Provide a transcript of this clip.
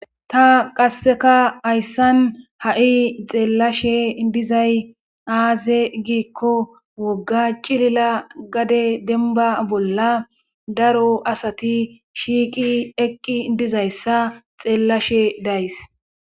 ta qasseka hayssan ha'i xeellashe dizay aaze giikko wogga cilila gade denba bolla daro asati shiiqi eqqi dizayssa xeellashe days